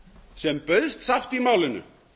sem bauðst sátt í málinu